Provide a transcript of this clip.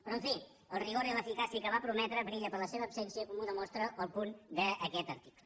però en fi el rigor i l’eficàcia que va prometre brillen per la seva absència com ho demostra el punt d’aquest article